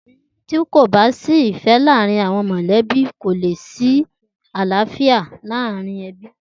Ti kó bà si ifè làárin áwòn mòlèbí kó lé si àláfiá ninú èbí